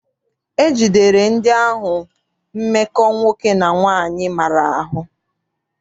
E jidere ndị ahụ mmekọ nwoke na nwaanyị maara ahụ.